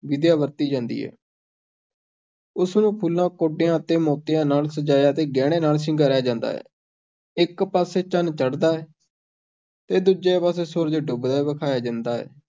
ਵਿਧੀਆਂ ਵਰਤੀ ਜਾਂਦੀ ਹੈ ਉਸ ਨੂੰ ਫੁੱਲਾਂ, ਕੌਡੀਆਂ ਤੇ ਮੋਤੀਆਂ ਨਾਲ ਸਜਾਇਆ ਤੇ ਗਹਿਣਿਆਂ ਨਾਲ ਸ਼ਿੰਗਾਰਿਆ ਜਾਂਦਾ ਹੈ, ਇੱਕ ਪਾਸੇ ਚੰਨ ਚੜ੍ਹਦਾ ਹੈ ਤੇ ਦੂਜੇ ਪਾਸੇ ਸੂਰਜ ਡੁੱਬਦਾ ਵਿਖਾਇਆ ਜਾਂਦਾ ਹੈ।